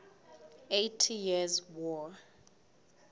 eighty years war